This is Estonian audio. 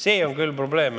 See on küll probleem.